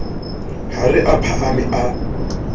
ha re a phahame a